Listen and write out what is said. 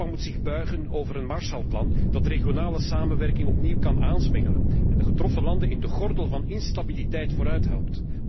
Europa moet zich buigen over een Marshallplan dat regionale samenwerking opnieuw kan aanzwengelen en de getroffen landen in de gordel van instabiliteit vooruithelpt.